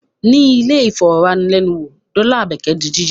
Ní ilẹ̀-ìfọ̀wánilẹ́nuwò dọ́là Àbẹ́kẹ́ di jíjí.